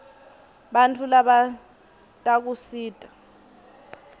bantfu labatdkusita